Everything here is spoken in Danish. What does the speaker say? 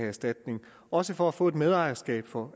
erstatning også for at få et medejerskab for